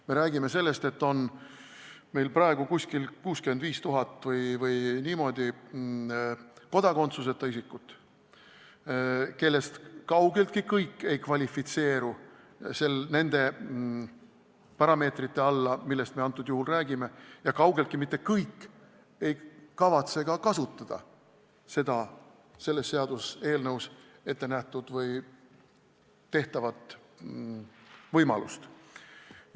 Me räägime sellest, et meil on praegu kuskil 65 000 kodakondsuseta isikut, kellest kaugeltki mitte kõik ei kvalifitseeru nende parameetrite alla, millest me antud juhul räägime, ja kaugeltki mitte kõik ei kavatse kasutada selle seaduseelnõuga ette nähtud või tehtavat võimalust.